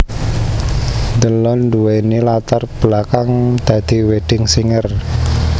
Delon nduwéni latar belakang dadi wedding singer